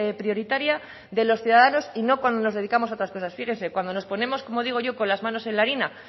prioritaria de los ciudadanos y no cuando nos dedicamos a otras cosas fíjese cuando nos ponemos como digo yo con las manos en la harina